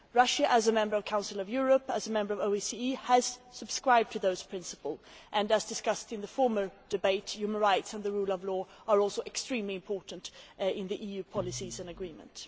Russia, as a member of the Council of Europe, as a member of OECD, has subscribed to those principles and, as discussed in the former debate, human rights and the rule of law are also extremely important in the EU policies and agreement.